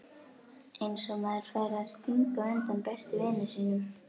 Eins og maður færi að stinga undan besta vini sínum!